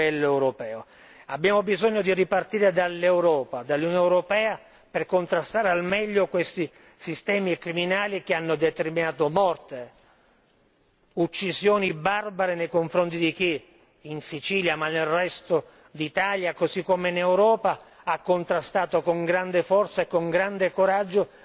Abbiamo bisogno di ripartire dall'Europa, dall'Unione europea per contrastare al meglio questi sistemi criminali che hanno determinato morte, uccisioni barbare nei confronti di chi in Sicilia, ma nel resto d'Italia, così come in Europa ha contrastato con grande forza e con grande coraggio nei confronti di